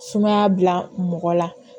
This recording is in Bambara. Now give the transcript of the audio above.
Sumaya bila mɔgɔ la